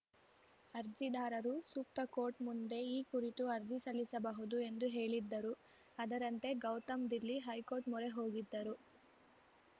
ಅರ್ಜಿದಾರರು ಸೂಕ್ತ ಕೋರ್ಟ್‌ ಮುಂದೆ ಈ ಕುರಿತು ಅರ್ಜಿ ಸಲ್ಲಿಸಬಹುದು ಎಂದು ಹೇಳಿದ್ದರು ಅದರಂತೆ ಗೌತಮ್‌ ದಿಲ್ಲಿ ಹೈಕೋರ್ಟ್‌ ಮೊರೆ ಹೋಗಿದ್ದರು